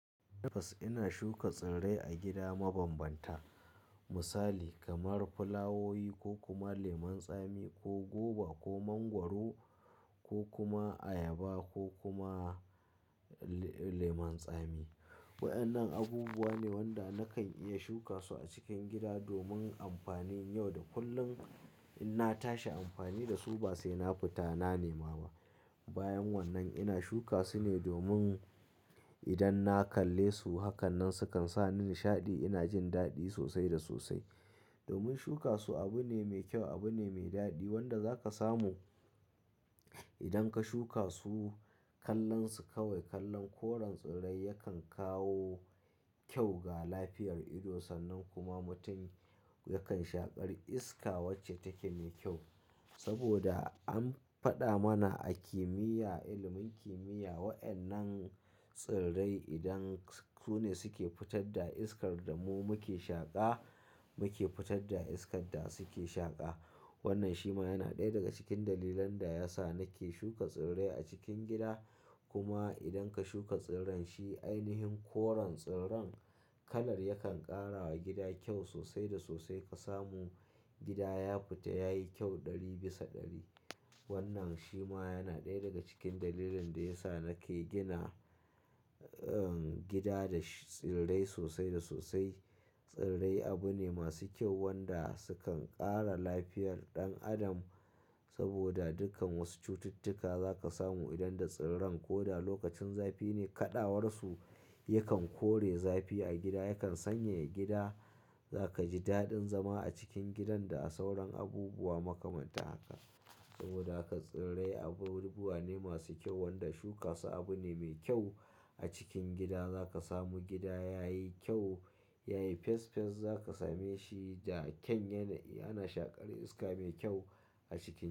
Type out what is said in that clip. Tabbas, ina shuka tsirrai a gida mabambanta. Misali kamar fulawowi ko kuma lemon tsami ko goba ko mangwaro ko kuma ayaba ko kuma lemon tsami. Waɗannan abubuwa ne wanda nakan iya shuka su a cikin gida domin amfani. Yau da kullum in na tashi amfani da su ba sai na fita na nema ba. Bayan wannan ina shuka su ne domin idan na kalle su hakan nan sukan sa ni nishaɗi. Ina jin daɗi sosai da sosai. Domin shuka su abu ne mai kyau, abu ne mai daɗi wanda zaka samu idan ka shuka su. Kallon su kawai, kallon koren tsirrai yakan kawo kyau ga lafiyar ido sannan kuma mutum yakan shaƙar iska wacce take me kyau. Saboda an faɗa mana a kimiyya, ilimin kimiyya waɗannan tsirrai idan su ne suke fitar da iskar da mu muke shaƙa, muke fitar da iskar da suke shaƙa. Wannan shi ma yana ɗaya daga cikin dalilan da yasa nake shuka tsirrai a cikin gida. Kuma idan ka shuka tsirran shi, ainihin koren tsirran kalar yakan ƙara wa gida kyau sosai da sosai. Ka samu gida ya fita yayi kyau ɗari bisa ɗari. Wannan shi ma yana ɗaya daga cikin dalilin da yasa nake gina gida da tsirrai sosai da sosai. Tsirrai abu ne masu kyau wanda sukan ƙara lafiyar ɗan adam. Saboda dukan wasu cututtuka za ka samu idan da tsirran. Ko da lokacin zafi ne kaɗawarsu yakan kore zafi a gida, yakan sanyaya gida. Za ka ji daɗin zama a cikin gidan da a sauran abubuwa makamanta haka. Saboda haka tsirrai abubuwa ne masu kyau wanda shuka su abu ne mai kyau a cikin gida. Za ka samu gida yayi kyau, yayi fes fes. Za ka same shi da kyan yana, ana shaƙar iska mai kyau a cikin.